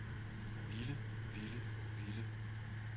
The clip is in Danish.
ville ville ville